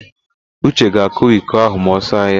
Uche ga-akụwa iko áhụ̀ ma ọ saa ya.